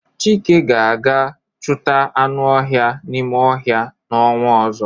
Chike ga-aga chuta anu ohia n'ime ohia n' onwa ozo